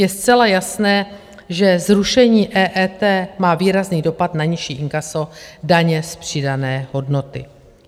Je zcela jasné, že zrušení EET má výrazný dopad na nižší inkaso daně z přidané hodnoty.